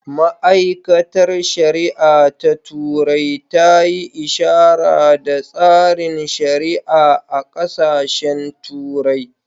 Ma’aikatar shari’a ta turai ta yi ishara da tsarin shari’a a ƙasashen turai